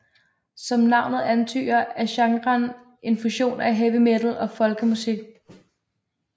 Som navnet antyder er genren en fusion af heavy metal og folkemusik